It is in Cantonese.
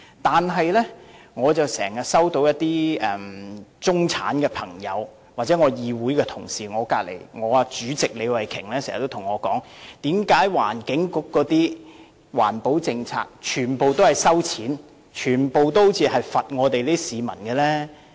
但是，我經常收到中產朋友或議會同事，例如李慧琼議員經常對我說，為何環境局的環保政策全部都要收費，全部都好像要懲罰市民？